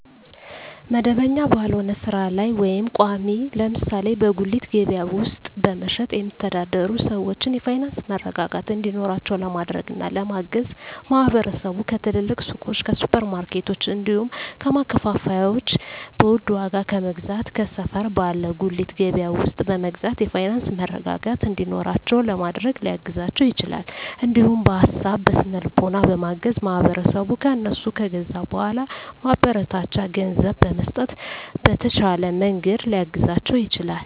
መደበኛ ባልሆነ ስራ ላይ ወይም ቋሚ (ለምሳሌ በጉሊት ገበያ ውስጥ በመሸጥ የሚተዳደሩ ሰዎችን የፋይናንስ መረጋጋት እንዲኖራቸው ለማድረግና ለማገዝ ማህበረሰቡ ከትልልቅ ሱቆች፣ ከሱፐር ማርኬቶች፣ እንዲሁም ከማከፋፈያዎች በውድ ዋጋ ከመግዛት ከሰፈር ባለ ጉሊት ገበያ ውስጥ በመግዛት የፋይናንስ መረጋጋት እንዲኖራቸው ለማድረግ ሊያግዛቸው ይችላል። እንዲሁም በሀሳብ በስነ ልቦና በማገዝ ማህበረሰቡ ከእነሱ ከገዛ በኃላ ማበረታቻ ገንዘብ በመስጠት በተሻለ መንገድ ሊያግዛቸው ይችላል።